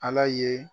Ala ye